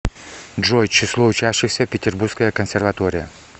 джой число учащихся петербургская консерватория